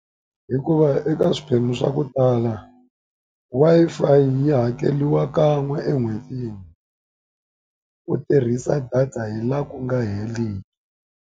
Hikuva eka swiphemu swa ku tala, Wi-Fi yi hakeriwa kan'we en'hwetini, u tirhisa data hi laha ku nga heriki.